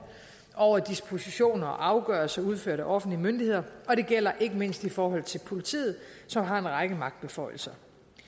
over for dispositioner og afgørelser udført af offentlige myndigheder og det gælder ikke mindst i forhold til politiet som har en række magtbeføjelser